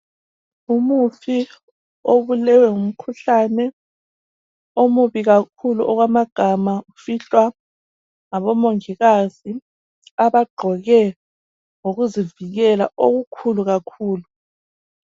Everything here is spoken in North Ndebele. Umufi obulewe ngumkhuhlane omubi kakhulu okwamagama ufihlwa ngoMongikazi abagqoke ngokuzivikela okukhulu kakhulu.